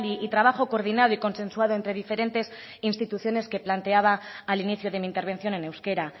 y trabajo coordinado y consensuado entre diferentes instituciones que planteaba al inicio de mi intervención en euskera